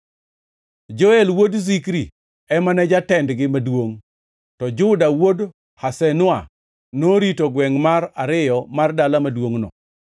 Joel wuod Zikri ema ne jatendgi maduongʼ, to Juda wuod Hasenua norito gwengʼ mar ariyo mar dala maduongʼno.